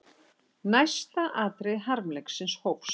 Næsta atriði harmleiksins hófst.